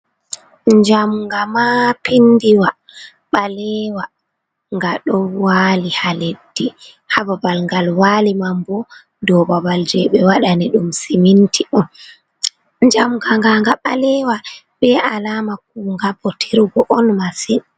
jamnga ma pindiwa balewa, nga don wali ha leddi, ha babal ngal wali manbo dou babal je be wadani dum siminti on, jamnga nga nga balewa, be alama ku nga bo tirgo on masin.